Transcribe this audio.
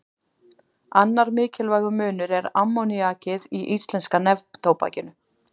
Annar mikilvægur munur er ammoníakið í íslenska neftóbakinu.